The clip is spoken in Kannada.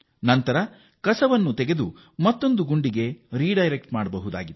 ಬಳಿಕ ಈ ತ್ಯಾಜ್ಯವನ್ನು ಮತ್ತೊಂದು ಗುಂಡಿಗೆ ಸುಲಭವಾಗಿ ವರ್ಗಾಯಿಸಬಹುದು